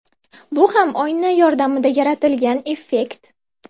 Bu ham oyna yordamida yaratilgan effekt.